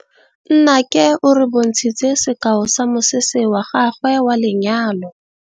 Nnake o re bontshitse sekaô sa mosese wa gagwe wa lenyalo.